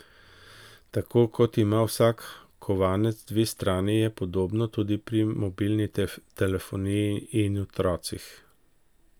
Tako kot ima vsak kovanec dve strani, je podobno tudi pri mobilni telefoniji in otrocih.